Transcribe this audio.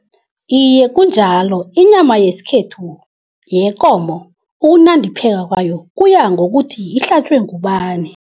Iye kunjalo. Inyama yesikhethu yekomo ukunandipheka kwayo kuya ngokuthi ihlatjwe ngubani.